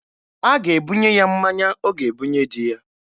A ga-ebunye ya mmanya ọ ga-ebunye di ya